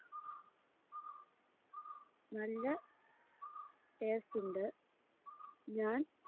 നല്ല taste ഇണ്ട് ഞാൻ